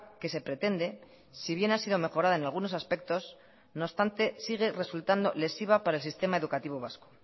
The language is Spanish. que se pretende si bien ha sido mejorada en algunos aspectos no obstante sigue resultando lesiva para el sistema educativo vasco